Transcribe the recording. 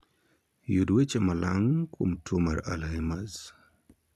Yud weche malang' kuom tuo mar 'Alzheimers'